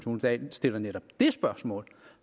dahl stiller netop det spørgsmål